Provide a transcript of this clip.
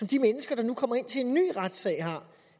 de mennesker der nu kommer ind til en ny retssag har